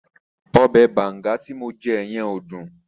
Ọbẹ̀ banga ti mo yẹn ò dùn.